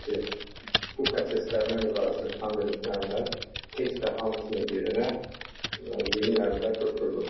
Bilirsiniz ki, bu prosesdə əməyə müqayisədə xitam vermiş müəllimlərin heç də hamısının yerinə yeni müəllimlər götürülmür.